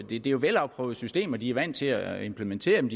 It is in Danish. det er jo velafprøvede systemer de er vant til at implementere dem